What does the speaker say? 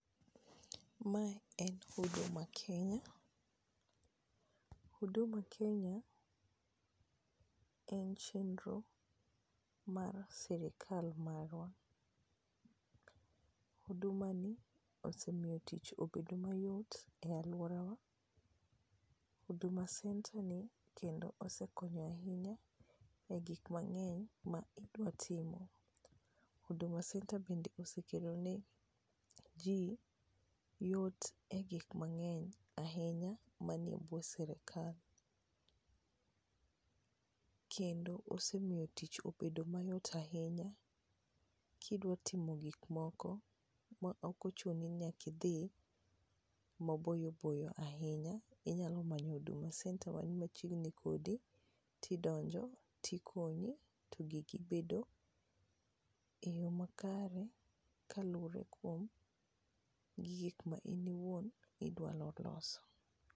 Mae en Huduma kenya, Huduma Kenya en chenro mar sirikal marwa, hudumani osemiyo tich obedo mayot e alworawa. Huduma centre ni kendo osekonyo ahinya e gik mang'eny ma idwa timo. Huduma centre bende osekelo ne ji yot e gik mang'eny ahinya manie bwo sirikal, kendo osemiyo tich obedo mayot ahinya kidwa timo gikmoko ok ochuni nyaka idhi maboyo boyo ahinya, inyalo manyo Huduma centre mani machiegni kodi, tidonjo, tikonyi to giki bedo e yo makare kaluwore kuom gi gik ma in owuon idwaro loso.